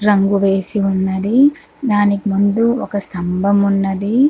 రంగు వేసి ఉన్నదీ. దానికి ముందు ఒక స్థంభం ఉన్నది.